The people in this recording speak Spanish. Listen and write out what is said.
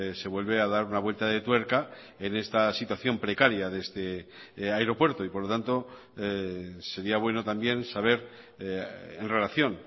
se vuelve a dar una vuelta de tuerca en esta situación precaria de este aeropuerto y por lo tanto sería bueno también saber en relación